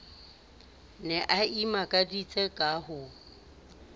ne a imakaditse ka ho